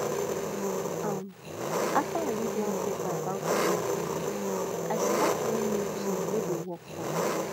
um after i read for one paper about time planning i start one new tin wey dey work for me